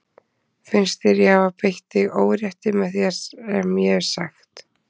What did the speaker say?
Finnst þér ég hafa beitt þig órétti með því sem ég hef sagt?